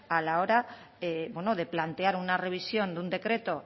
a la hora de plantear una revisión de un decreto